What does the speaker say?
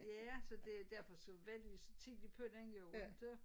Ja så det derfor så var vi så tidligt på den jo ikke